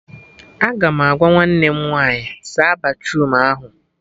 Aga m agwa nwanne m nwaanyị "saa batruum ahụ "